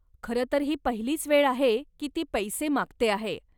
खरं तर ही पहिलीच वेळ आहे की ती पैसे मागते आहे.